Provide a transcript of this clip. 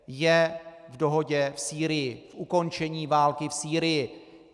Je v dohodě v Sýrii, v ukončení války v Sýrii.